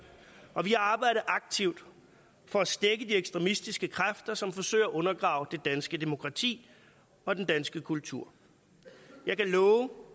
og vi har arbejdet aktivt for at stække de ekstremistiske kræfter som forsøger at undergrave det danske demokrati og den danske kultur jeg kan love